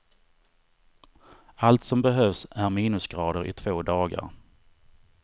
Allt som behövs är minusgrader i två dagar.